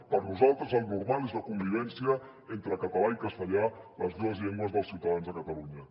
per nosaltres el normal és la convivència entre català i castellà les dues llengües dels ciutadans de catalunya